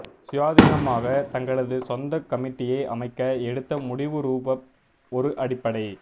சுயாதீனமாக தங்களது சொந்த கமிட்டியை அமைக்க எடுத்த முடிவுரூபவ் ஒரு அடிப்படை